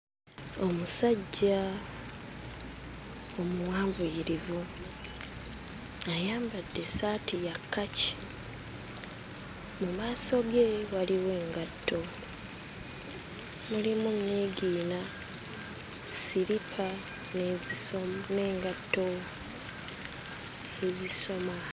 Omusajja omuwanvuyirivu ayambadde essaati ya kkaki. Mu maaso ge waliwo engatto, mulimu nniigiina, ssiripa n'ezisom n'engatto ezisoma.